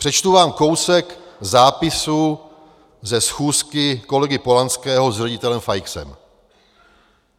Přečtu vám kousek zápisu ze schůzky kolegy Polanského s ředitelem Feixem.